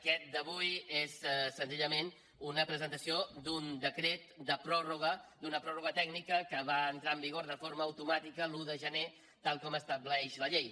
aquesta d’avui és senzillament una presentació d’un decret de pròrroga d’una pròrroga tècnica que va entrar en vigor de forma automàtica l’un de gener tal com estableix la llei